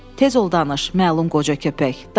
Tez ol danış, məlum qoca köpək, danış.